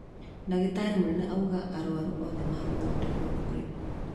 Ndagĩtarĩ mũnene auga arwaru othe megũthondekwo bure